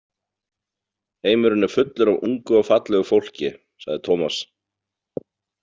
Heimurinn er fullur af ungu og fallegu fólki, sagði Tómas.